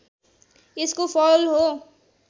यसको फल हो